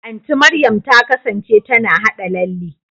Anti Mariam ta kasance tana haɗa lalle.